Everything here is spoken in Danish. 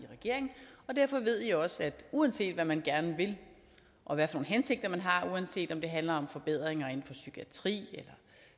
i regering og derfor ved i også at uanset hvad man gerne vil og hvilke hensigter man har og uanset om det handler om forbedringer inden for psykiatrien eller